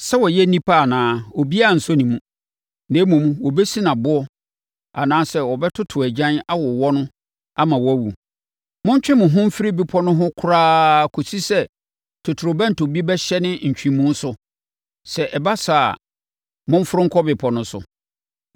Sɛ ɔyɛ onipa anaa a, obiara nsɔ ne mu. Na mmom, wɔbɛsi no aboɔ anaasɛ wɔbɛtoto agyan awowɔ no ama wawu.’ Montwe mo ho mfiri bepɔ no ho koraa kɔsi sɛ totorobɛnto bi bɛhyɛne ntwemu so; sɛ ɛba saa a, momforo nkɔ bepɔ no so!”